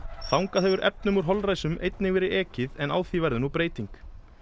þangað hefur efnum úr holræsum einnig verið ekið en á því verður nú breyting